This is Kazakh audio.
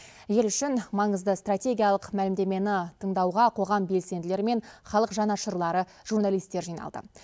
ел үшін маңызды стратегиялық мәлімдемені тыңдауға қоғам белсенділері мен халық жанашырлары журналистер жиналды